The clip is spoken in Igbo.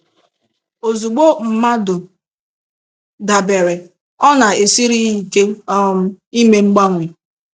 Ozugbo mmadụ dabere, ọ na-esiri ya ike um ime mgbanwe.